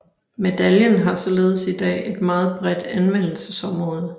Medaljen har således i dag et meget bredt anvendelsesområde